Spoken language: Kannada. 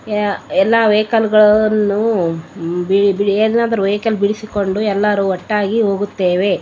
ಏ ಎಲ್ಲ ವೆಹಿಕಲ್ಗ ಳನ್ನೂ ಬಿಡಿ ಎಲ್ಲ ವೆಹಿಕಲ್ಗ ಳನ್ನೂ ಬಿಡಿಸಿಕೊಂಡು ಎಲ್ಲರೂ ಒಟ್ಟಾಗಿ ಹೋಗುತ್ತೇವೆ .